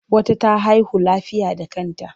Wata ta haihu lafiya da kanta.